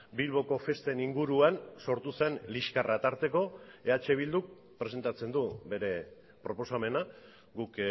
bilboko festen inguruan sortu zen liskarra tarteko eh bilduk presentatzen du bere proposamena guk